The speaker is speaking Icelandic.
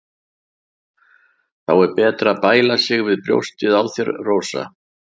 Þá er betra að bæla sig við brjóstin á þér, Rósa.